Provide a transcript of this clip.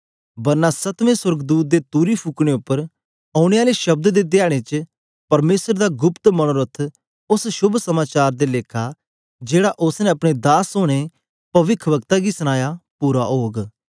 बरना सतवें सोर्गदूत दे तुरी फुकने उपर ओनें आले शब्द दे धयारे च परमेसर दा गुप्त मनोरथ उस्स शोभ समाचार दे लेखा जेहड़ा उस्स ने अपने दास औने पविखवक्ता गी सनाया पूरा ओग